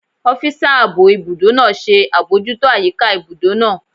Ọ́físà ààbò ibùdó náà ṣe àbojútó àyíká ibùdó náà